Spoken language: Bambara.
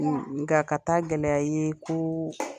Nga ka taa gɛlɛya ye ko